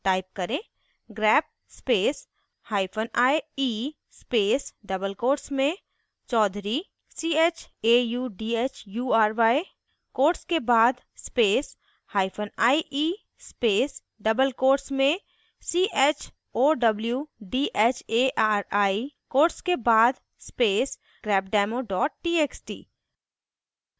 type करें: